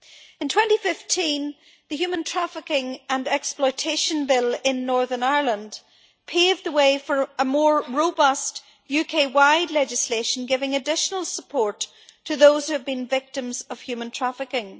In 2015, the Human Trafficking and Exploitation Bill in Northern Ireland paved the way for more robust UK wide legislation, giving additional support to those who have been victims of human trafficking.